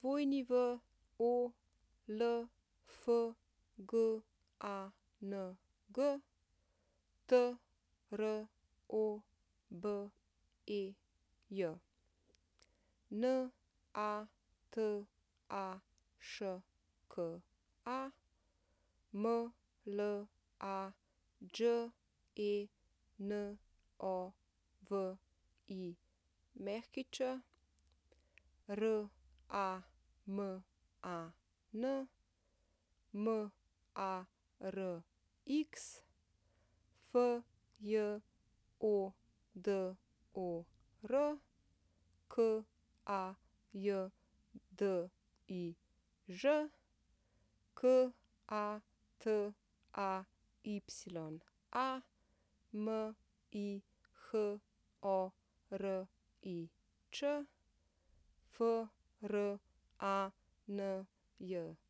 Wolfgang Trobej, Nataška Mlađenović, Raman Marx, Fjodor Kajdiž, Kataya Mihorič, Franjo Stopič, Jacqueline